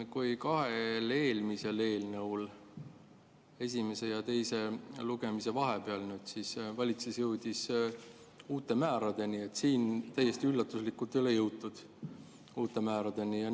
Kui kahe eelmise eelnõu esimese ja teise lugemise vahepeal valitsus jõudis uute määradeni, siis siin täiesti üllatuslikult ei ole uute määradeni jõutud.